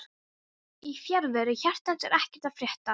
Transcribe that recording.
Í fjarveru hjartans er ekkert að frétta